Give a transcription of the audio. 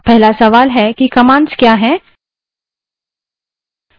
अब पहला सवाल है कि commands क्या हैं